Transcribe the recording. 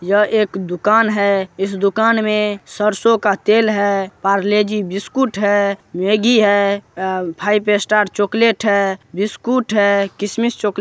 यह एक दुकान है। इस दुकान में सरसो का तेल है पार्ले-जी बिस्कुट है मैगी है अ फाइव स्टार चॉकलेट है बिस्कुट है किसमिस चॉकलेट --